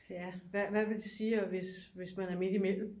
Ja hvad vil det sige hvis man er midt imellem